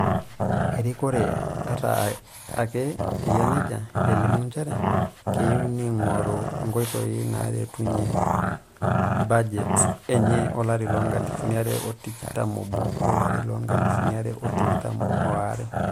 Erikore, ata ake eyia nejia, elimu njere keyieu neingoru nkoitoi naaretunye bujet enye olari loonkalifuni are otikitam oob - olarii loonkalifuni are o tikitam are.